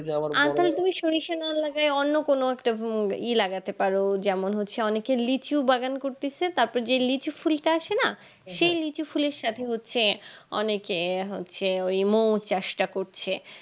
সরিষা না লাগাই অন্য কোনো একটা উম ই লাগাতে পারো যেমন হচ্ছে অনেক লিচু বাগান করতেসে তারপর যে লিচু ফুলটা আসে না সেই লিচু ফুল এর সাথে হচ্ছে অনেকে হচ্ছে মৌ চাষটা করছে